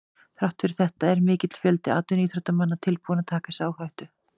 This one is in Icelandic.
Þrátt fyrir þetta er mikill fjöldi atvinnuíþróttamanna tilbúinn að taka þessa áhættu.